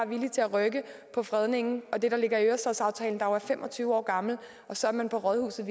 villige til at rykke på fredningen og det der ligger i ørestadsaftalen der jo er fem og tyve år gammel så er man på rådhuset